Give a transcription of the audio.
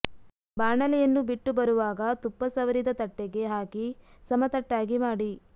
ಬಾಣಲೆಯನ್ನು ಬಿಟ್ಟು ಬರುವಾಗ ತುಪ್ಪ ಸವರಿದ ತಟ್ಟೆಗೆ ಹಾಕಿ ಸಮತಟ್ಟಾಗಿ ಮಾಡಿ